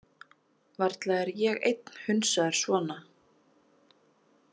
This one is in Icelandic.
Varla er ég einn hunsaður svona.